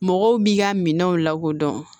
Mɔgɔw b'i ka minɛnw lakodɔn